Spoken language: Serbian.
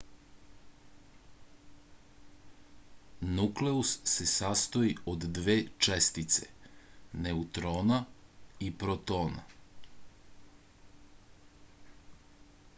nukleus se sastoji od dve čestice neutrona i protona